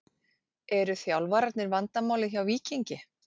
Eru þjálfarnir vandamálið hjá Víkingi?